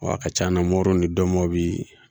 a ka ca na ni dɔmɔbili